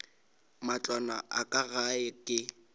matlwana a ka gae ke